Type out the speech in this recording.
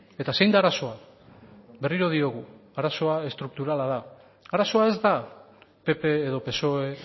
eta zein da arazoa berriro diogu arazoa estrukturala da arazoa ez da pp edo psoe